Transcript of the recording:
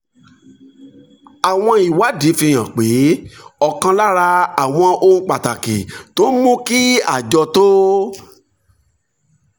àwọn ìwádìí fi hàn pé ọ̀kan lára àwọn ohun pàtàkì tó ń mú kí àjọ tó